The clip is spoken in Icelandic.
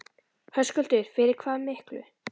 Höskuldur: Fyrir hvað miklu?